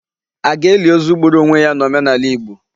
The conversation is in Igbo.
A ga-eli ozu gburu onwe ya n'omenala Igbo?